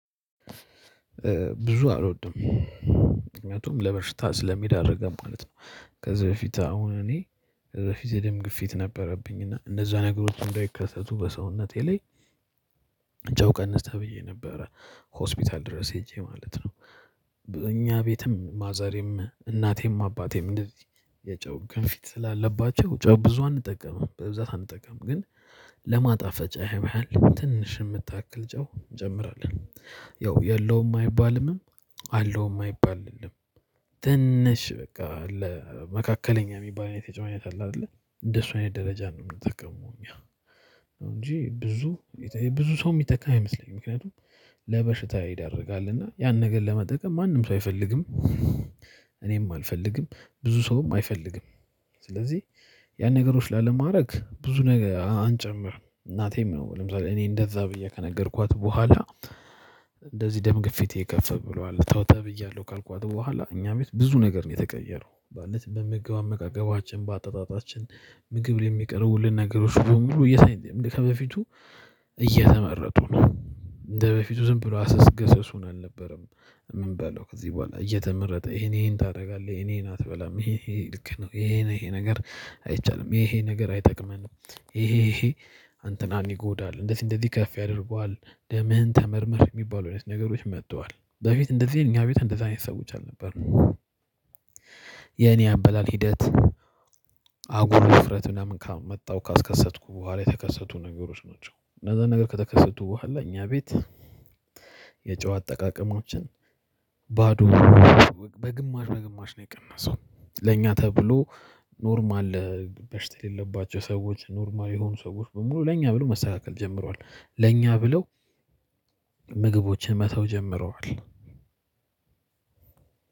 ብዙ አልወድም። ምክንያቱም ለበሽታ ስለሚዳርገን ማለት ነው። ከዚህ በፊት አሁን እኔ የደም ግፊት ነበረብኝ። እና እንደዛ ነገሮች እንዳይከሰቱ በሰውነቴ ላይ ጨው ቀንስ ተብዬ ነበረ። ሆስፒታል ድረስ ሄጄ ማለት ነው። እኛ ቤትም ማዘሬም እናቴም አባቴም እንደዚህ የጨው ግፊት ስላለባቸው ጨው ብዙ አንጠቀምም። በብዛት አንጠቀምም። ግን ለማጣፈጫ ያህል ትንሽ የምታክል ጨው እንጨምራለን። ያው የለውም አይባልምም አለውም አይባልልም ትንሽ በቃ ለመካከለኛ ሚባል አይነት የጨው አይነት አለ አይደለ? እንደሱ አይነት ደረጃ ነው ምንጠቀመው እኛ። እንጂ ብዙ ብዙ ሰው ሚጠቀም አይመስለኝም። ምክንያቱም ለበሽታ ይዳርጋል። እና ያንን ነገር ለመጠቀም ማንም ሰው አይፈልግም። እኔም አልፈልግም። ብዙ ሰውም አይፈልግም። ስለዚህ ያን ነገሮች ላለማድረግ ብዙ ነገር አንጨምርም። እናቴም ያው ለምሳሌ እኔ እንደዛ ብዬ ከነገርኳት በኋላ እንደዚህ ደም ግፊቴ ከፍ ብሏልተው ተብያለሁ ካልኳት በኋላ እኛ ቤት ብዙ ነገር ነው የተቀየረው። ማለት በምግብ አመጋገባችን፣ በአጠጣጣችን ምግብ ላይ ሚቀርቡልን ነገሮች በሙሉ ከበፊቱ እየተመረጡ ነው እንደበፊቱ ዝም ብሎ አሰስገሰሱን አልነበረም ምንበላው ከዚህ በኋላ እየተመረጠ ይሄን ይሄን ታደርጋለህ፣ ይሄን አትበላም ይሄ ይሄ ልክ ነው፣ ይሄ ነው ይሄ ነገር አይቻልም፣ ይሄ ነገር አይጠቅመንም፣ ይሄ ይሄ አንተን ይጎዳል፣ እንዴት እንደዚህከፍ ያደርጉሃል? ደምህን ተመርመር። ሚባሉ አይነት ነገሮች መጥተዋል። በፊት እንደዚህ እኛ ቤት እንደዛ አይነት ሰዎች አልነበርንም። የኔ አበላል ሂደት አጉል ውፍረት ምናምን ካመጣው ካስከሰትኩ በኋላ የተከሰቱ ነገሮች ናቸው። እነዛ ነገር ከተከሰቱ በኋላ እኛ ቤት የጨው አጠቃቀማችን ባዶ በግማሽ በግማሽ ነው የቀነሰው ለኛ ተብሎ ኖርማል በሽታ የሌለባቸው ሰዎች ኖርማል የሆኑ ሰዎች በሙሉ ለኛ ብለው መስተካከል ጀምረዋል። ለኛ ብለው ምግቦችን መተው ጀምረዋል።